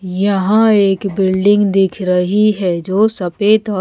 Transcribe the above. यहाँ एक बिल्डिंग दिख रही है जो सफ़ेद औ--